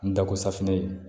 N da ko safinɛ in